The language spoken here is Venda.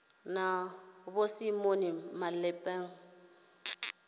na vho simon malepeng kha